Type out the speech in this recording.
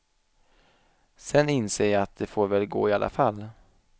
Sen inser jag att det får väl gå i alla fall.